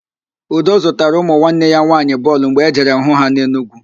Udo zụtara ụmụ nwanne ya nwaanyị bọọlụ mgbe ọ jere hụ ha n'Enugwu